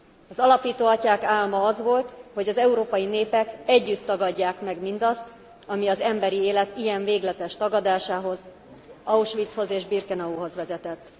Az alapító atyák álma az volt, hogy az európai népek együtt tagadják meg mindazt, ami az emberi élet ilyen végletes tagadásához, Auschwitzhoz és Birkenauhoz vezetett.